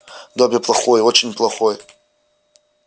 добби плохой очень плохой